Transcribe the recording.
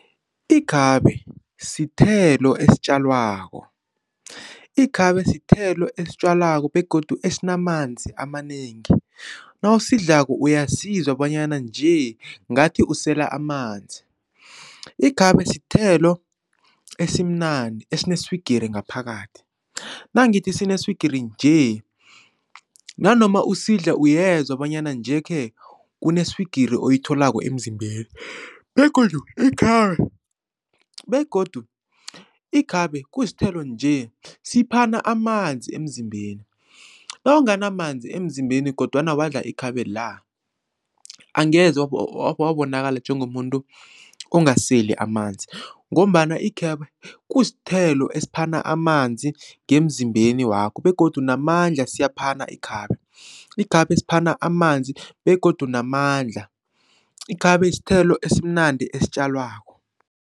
Ikhabe sithelo esitjalwako, ikhabe sithelo esitjwalwako begodu esinamanzi amanengi, nawusidlako uyasizwa bonyana nje ngathi usela amanzi. Ikhabe sithelo esimnandi esineswigiri ngaphakathi nangithi sineswigiri nje nanoma usidla uyezwa bonyana nje-ke kuneswigiri oyitholako emzimbeni begodu ikhabe begodu ikhabe kusithelo nje siphana amanzi emzimbeni nawunganamanzi emzimbeni kodwana wadla ikhabe la angeze wabonakala njengomuntu ongaseli amanzi ngombana ikhabe kusithelo esiphana amanzi ngemzimbeni wakho begodu namandla siyaphana ikhabe. Ikhabe siphana amanzi begodu namandla, ikhabe sithelo esimnandi esitjalwako.